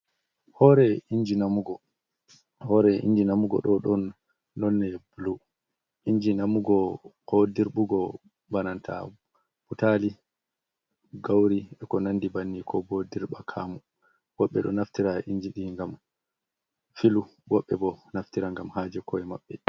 Hore inji namugo, hore inji namugo ɗo ɗon nonne bulu inji namugo ko dirɓugo bana ta butali, gauri, e ko nandi banni, ko bo dirɓakamu, woɓɓe ɗo naftira injiɗi ngam filu woɓɓe bo naftira ngam haje ko'e maɓɓe.